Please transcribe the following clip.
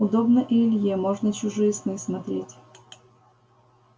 удобно и илье можно чужие сны смотреть